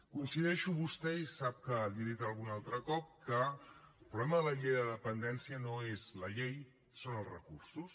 coincideixo amb vostè i sap que li ho he dit algun altre cop que el problema de la llei de dependència no és la llei són els recursos